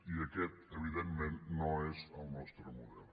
i aquest evidentment no és el nostre model